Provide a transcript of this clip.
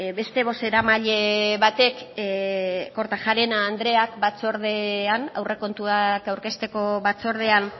beste bozeramaile batek kortajarena andreak batzordean aurrekontuak aurkezteko batzordean